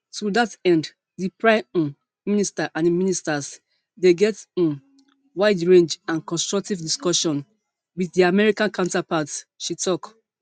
to dat end di prime um minister and im ministers dey get um widerange and constructive discussions wit dia american counterparts she tok